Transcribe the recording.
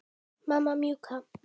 Mamma mjúka.